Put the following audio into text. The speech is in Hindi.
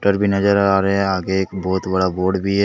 भी नजर आ रहे हैं आगे एक बहुत बड़ा बोर्ड भी है।